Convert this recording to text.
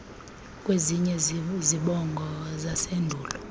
kweziya zibongo zasendulo